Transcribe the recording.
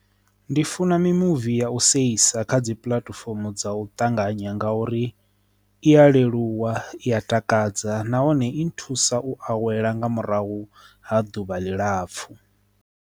Ndi funa mimuvi ya u sa isa kha dzi puḽatifomo dza u ṱanganya nga uri iya leluwa i ya takadza nahone i thusa u awela nga murahu ha ḓuvha ḽi lapfhu.